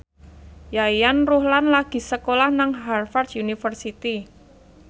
Yayan Ruhlan lagi sekolah nang Harvard university